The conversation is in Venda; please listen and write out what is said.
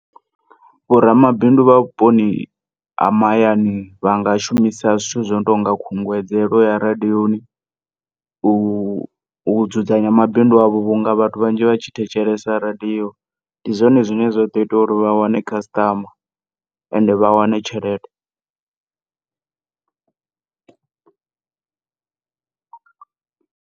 Vho ramabindu vha vhuponi ha mahayani vhanga shumisa zwithu zwino tonga khunguwedzelo ya radioni u, u dzudzanya mabidu avho vhunga vhathu vhanzhi vhatshi thetshelesa radio ndi zwone zwine zwaḓo ita uri vha wane customer ende vha wane tshelede.